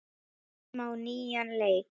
Byrjum á nýjan leik.